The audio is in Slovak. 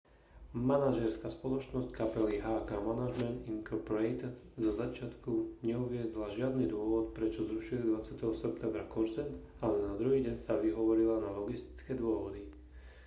manažérska spoločnosť kapely hk management inc zo začiatku neuviedla žiadny dôvod prečo zrušili 20. septembra koncert ale na druhý deň sa vyhovorila na logistické dôvody